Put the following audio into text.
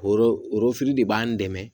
Oro orofili de b'an dɛmɛ